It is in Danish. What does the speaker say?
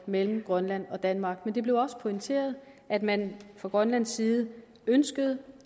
mellem grønland og danmark på det blev også pointeret at man fra grønlands side ønskede